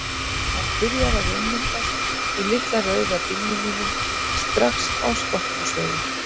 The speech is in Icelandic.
Hann byrjar að ummyndast í litla rauða bílnum mínum, strax á Skothúsvegi.